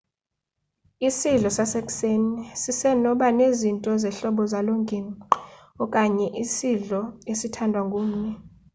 isidlo sasekuseni siseno banezinto zehlobo zalongingqi okanye isidlo esithandwa ngumni